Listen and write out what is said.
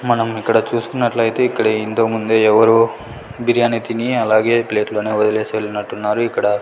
మనం ఇక్కడ చూసుకున్నట్లయితే ఇక్కడ ఇంతకుముందే ఎవరో బిర్యాని తిని అలాగే ప్లేట్ లోనే వదిలేసి వెళ్ళినట్టున్నారు ఇక్కడ.